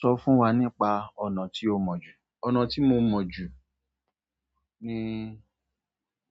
Sọ fún wa nípa ọ̀nà tí o mọ̀ jù. Ọ̀nà tí mo mọ̀ jù ní